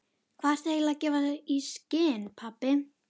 Hvað ertu eiginlega að gefa í skyn, pabbi?